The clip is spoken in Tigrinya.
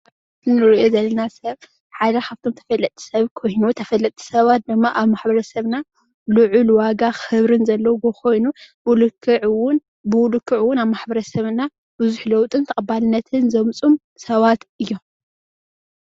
ሓደ መራሒ ሰራዊት ዘርኢ ምስሊ እዩ።